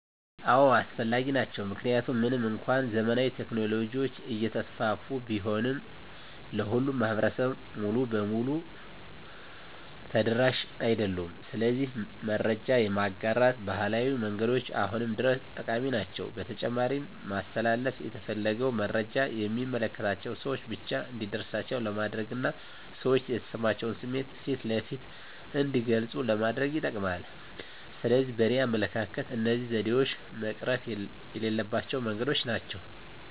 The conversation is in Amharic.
አዎ አስፈላጊ ናቸው። ምክንያቱም ምንም እንኳን ዘመናዊ ቴክኖሎጂዎች እየተስፋፉ ቢሆንም ለሁሉም ማህበረሰብ ሙሉ በሙሉ ተደራሽ አይደሉም። ስለዚህ መረጃ የማጋራት ባህላዊ መንገዶች አሁንም ድረስ ጠቃሚ ናቸው። በተጨማሪም ማስተላለፍ የተፈለገውን መረጃ የሚመለከታቸው ሰወች ብቻ እንዲደርሳቸው ለማድረግና ሰዎች የተሰማቸውን ስሜት ፊት ለፊት እንዲገልጹ ለማድረግ ይጠቅማል። ስለዚህ በእኔ አመለካከት እነዚህ ዘዴዎች መቅረት የሌለባቸው መንገዶች ናቸው።